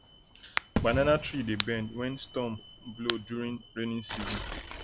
banana tree dey bend when storm blow during rainy season